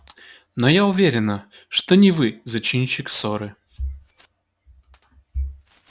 но я уверена что не вы зачинщик ссоры